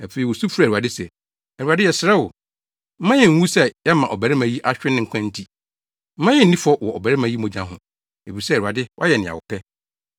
Afei wosu frɛɛ Awurade se, “ Awurade yɛsrɛ wo mma yennwuwu sɛ yɛama ɔbarima yi ahwere ne nkwa nti. Mma yennni fɔ wɔ ɔbarima yi mogya ho, efisɛ, Awurade wayɛ nea wopɛ.”